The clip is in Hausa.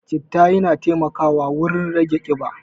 Citta yana taimakawa wurin rage ƙiba.